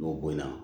N'o bonyana